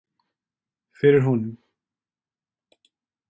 Fyrir honum.